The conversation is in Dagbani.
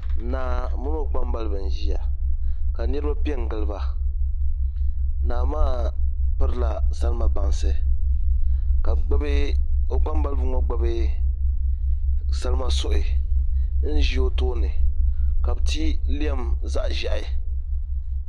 Naa mini o kpambalibi n ʒiya ka niraba piɛ n giliba naa maa pirila salima bansi ka o kpambalibi ŋo gbubi salima suhi n ʒi o tooni ka bi ti lɛm zaɣ ʒiɛhi